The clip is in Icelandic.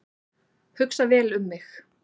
Hugsa vel um mig